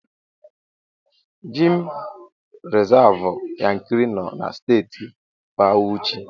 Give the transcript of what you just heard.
Gemụ rizavụ Yankari nọ na Steeti Bawuchi.